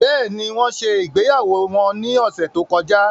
Bẹ́ẹ̀ni, wọn ṣe ìgbéyàwó wọn ní ọ̀sẹ̀ tó kọjá